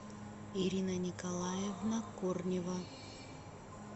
ирина николаевна корнева